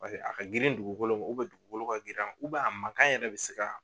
Paseke a ka girin dugukolo ma dugukolo ka girin a ma a mankan yɛrɛ bɛ se